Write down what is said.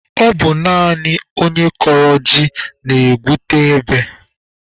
Ọ bụ naanị onye kọrọ ji na-egwute ebe